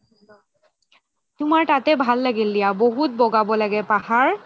তুমাৰ তাতে ভাল লাগিল দিয়া বহুত বগাব লাগে পাহাৰ